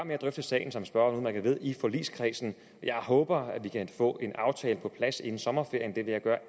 drøfte sagen som spørgeren udmærket ved i forligskredsen jeg håber at vi kan få en aftale på plads inden sommerferien jeg vil gøre